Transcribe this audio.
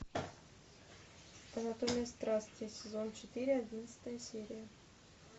анатомия страсти сезон четыре одиннадцатая серия